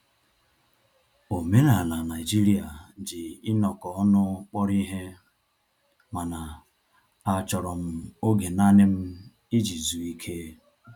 Omenala Naijiria ji inọkọ ọnụ kpọrọ ihe, mana a chọrọ m oge nanị m iji zụọ ike